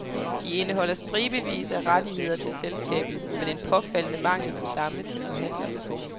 De indeholder stribevis af rettigheder til selskabet, men en påfaldende mangel på samme til forhandlerne.